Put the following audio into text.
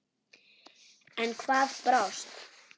En hvað brást?